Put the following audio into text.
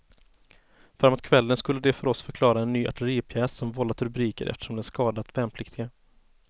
Framåt kvällen skulle de för oss förklara en ny artilleripjäs som vållat rubriker eftersom den skadat värnpliktiga.